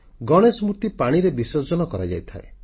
ଗଣେଶ ମୂର୍ତ୍ତି ପାଣିରେ ବିସର୍ଜନ କରାଯାଇଥାଏ